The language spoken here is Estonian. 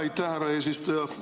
Aitäh, härra eesistuja!